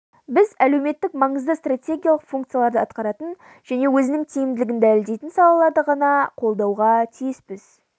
біз әлеуметтік-маңызды стратегиялық функцияларды атқаратын және өзінің тиімділігін дәлелдейтін салаларды ғана қолдауға тиіспіз